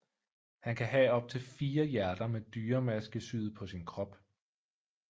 Han kan have optil 4 hjerter med dyremaske syet på sin krop